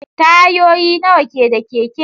Tayoyi nawa ke da keke?